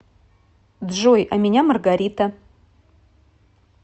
джой а меня маргарита